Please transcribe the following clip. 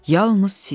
Yalnız siz.